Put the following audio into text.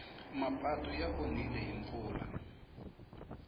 mapatu ya onhile hi mpfula